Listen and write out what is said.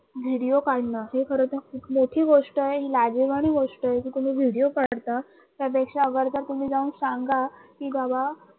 video काढणं ही खर तर खूप मोठी गोष्ट आहे, लाजिरवाणी गोष आहे कि तुम्ही video काढता त्यापेक्षा अगर जर तुम्ही जाऊन सांगा की बाबा